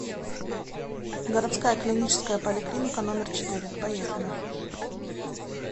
городская клиническая поликлиника номер четыре поехали